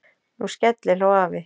Nú skellihló afi.